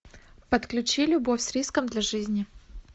подключи любовь с риском для жизни